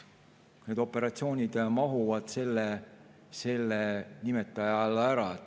Need operatsioonid mahuvad selle nimetaja alla ära.